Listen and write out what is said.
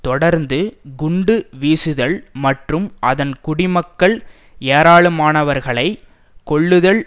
தொடர்ந்து குண்டு வீசுதல் மற்றும் அதன் குடிமக்கள் ஏராளமானவர்களை கொல்லுதல்